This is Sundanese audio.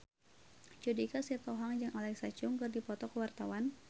Judika Sitohang jeung Alexa Chung keur dipoto ku wartawan